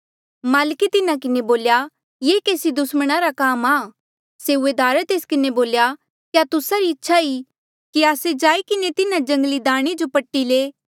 माल्के तिन्हा किन्हें बोल्या ये केसी दुस्मणा रा काम आ सेऊआदारे तेस किन्हें बोल्या क्या तुस्सा री इच्छा ई कि आस्से जाई किन्हें तिन्हा जंगली दाणे जो पट्टी ले